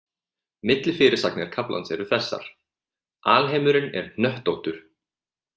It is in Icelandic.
Millifyrirsagnir kaflans eru þessar: Alheimurinn er hnöttóttur.